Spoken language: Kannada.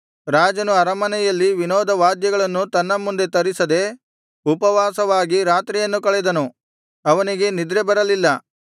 ರಾಜನು ಅರಮನೆಯಲ್ಲಿ ವಿನೋದವಾದ್ಯಗಳನ್ನು ತನ್ನ ಮುಂದೆ ತರಿಸದೆ ಉಪವಾಸವಾಗಿ ರಾತ್ರಿಯನ್ನು ಕಳೆದನು ಅವನಿಗೆ ನಿದ್ರೆ ಬರಲಿಲ್ಲ